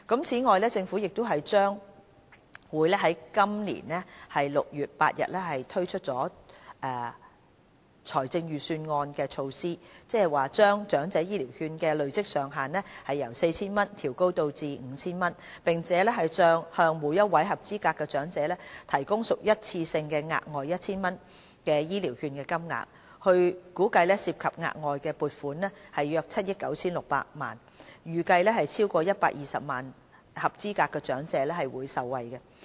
此外，政府將會在今年6月8日按照財政預算案推出措施，把長者醫療券的累積上限由 4,000 元調高至 5,000 元，並向每位合資格長者提供屬一次性質的額外 1,000 元醫療券金額，估計涉及額外撥款約7億 9,600 萬元，預計會有超過120萬名合資格長者受惠。